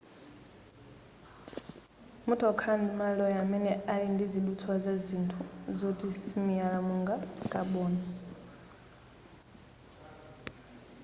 mutha kukhala ndi ma alloy amene ali ndizidutswa za zinthu zoti simiyala monga kaboni